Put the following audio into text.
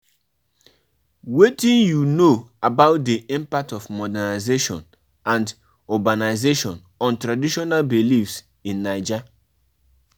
People wey go come dis wedding plenty, make una hire more plate